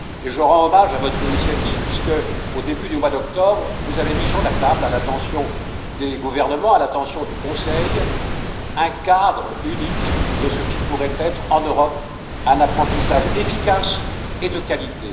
Je rends hommage à votre initiative, puisqu'au début du mois d'octobre, vous avez mis sur la table, à l'attention des gouvernements et du Conseil, un cadre unique de ce qui pourrait être, en Europe, un apprentissage efficace et de qualité.